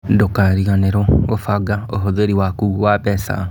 Ndũkariganĩrwo gũbanga ũhũthĩri waku wa mbeca.